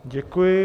Děkuji.